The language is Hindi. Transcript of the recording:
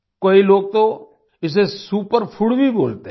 कई लोग तो इसे सुपर फूड भी बोलते हैं